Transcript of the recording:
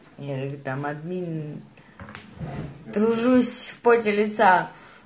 я люблю там админы тружусь поте лица